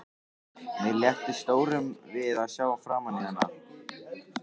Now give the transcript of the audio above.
Mér létti stórum við að sjá framan í hana.